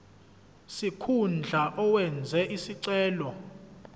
sikhundla owenze isicelo